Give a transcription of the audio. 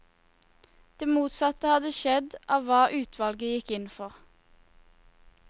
Det motsatte hadde skjedd av hva utvalget gikk inn for.